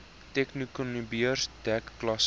technikonbeurs dek klasse